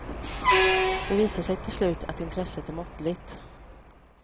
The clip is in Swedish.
Det visar sig till slut att intresset är måttligt.